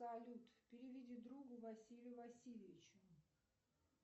салют переведи другу василию васильевичу